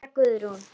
María Guðrún.